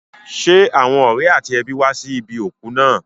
Ṣé àwọn ọ̀rẹ́ àti ẹbí wá sí ibi òkú náà?